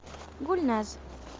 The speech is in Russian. гульназ